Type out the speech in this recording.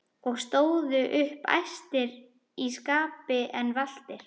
og stóðu upp æstir í skapi en valtir.